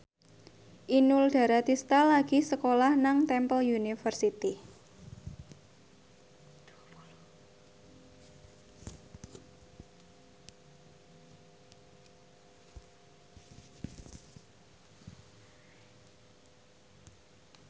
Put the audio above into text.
Inul Daratista lagi sekolah nang Temple University